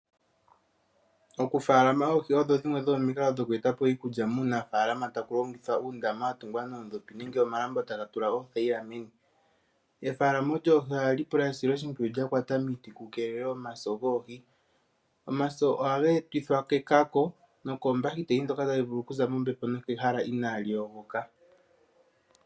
Okufaalama oohi, odho dhimwe dho momikalo dho kweeta po iikulya muunafaalama taku longithwa uundama wa tungwa noondopi nenge omalambo taga tulwa uuthayila meni. Efaalomo lyoohi ohali pula esiloshimpwiyu lya kwata miiti ku keelelwe omaso goohi. Omaso oha geetithwa ke ka ko ,nokoombakiteli dhoka tadhi vulu okuza mombepo nenge mehala inaa li yogoka.